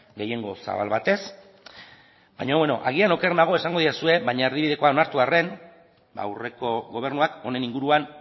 gehiengo zabal batez baina bueno agian oker nago esango didazue baina erdibidekoa onartu arren ba aurreko gobernuak honen inguruan